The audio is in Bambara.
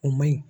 O man ɲi